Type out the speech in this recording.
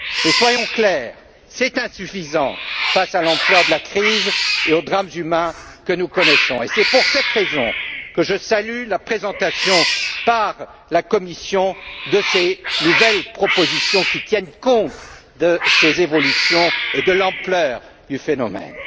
Mais, soyons clairs, c'est insuffisant face à l'ampleur de la crise et aux drames humains que nous connaissons. Et c'est pour cette raison que je salue la présentation, par la Commission, de ces nouvelles propositions qui tiennent compte de ces évolutions et de l'ampleur du phénomène.